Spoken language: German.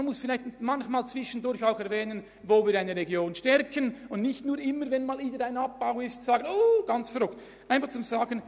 Man muss zwischendurch auch erwähnen, wo wir eine Region stärken, anstatt nur zu protestieren, wenn man einmal etwas abbaut.